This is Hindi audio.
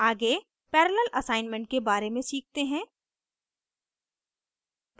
आगे parallel assignment के बारे में सीखते हैं